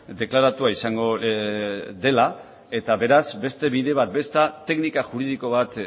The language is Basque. deklaratua izango dela eta beraz beste bide bat edo beste teknika juridiko bat